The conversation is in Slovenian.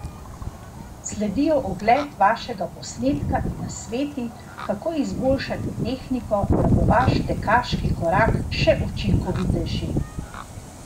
Sledijo ogled vašega posnetka in nasveti, kako izboljšati tehniko, da bo vaš tekaški korak še učinkovitejši!